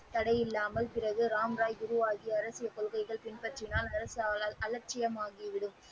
தடையில்லாமல் பிறகு ராம் ராய் குருவாகி அரசியல் கொள்கைகளைப் பின்பற்றினார அலட்சியமாகிவிடும்.